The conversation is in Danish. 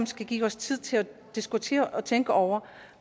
skal give os tid til at diskutere og tænke over